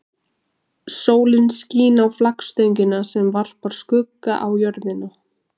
Sólin skín á flaggstöngina sem varpar skugga á jörðina.